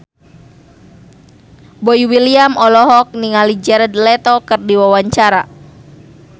Boy William olohok ningali Jared Leto keur diwawancara